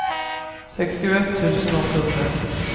sextioett tusen åttahundraett